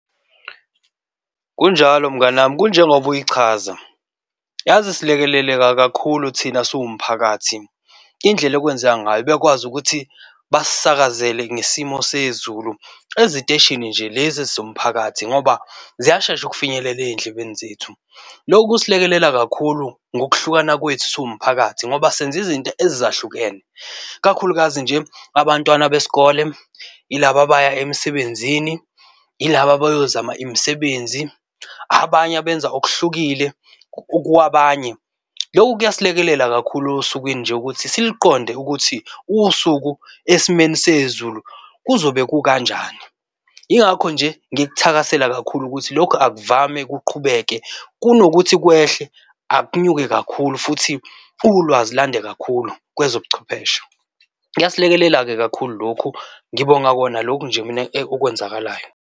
Kunjalo mngani wami kunjengoba uyichaza, yazi silekeleleka kakhulu thina siwumphakathi, indlela okwenzeka ngayo bekwazi ukuthi basisakazele ngesimo sezulu eziteshini nje lezi ezomphakathi ngoba ziyashesha ukufinyelela ezindlebeni zethu. Lokhu kusilekelela kakhulu ngokuhlukana kwethu siwumphakathi ngoba senza izinto ezahlukene. Ikakhulukazi nje abantwana besikole, yilaba abaya emsebenzini, yilaba abyozama imisebenzi, abanye abenza okuhlukile kwabanye. Loku kuyasilekelela kakhulu osukwini nje ukuthi siluqonde ukuthi usuku esimeni sezulu kuzobe kukanjani. Yingakho nje ngikuthakasela kakhulu ukuthi lokhu akuvame, kuqhubeke. Kuno kuthi kwehle akunyuke kakhulu futhi ulwazi lande kakhulu kwezobuchwepheshe. Kuyasilekelela-ke kakhulu lokhu, Ngibonga kona lokhu nje mina okwenzakalayo.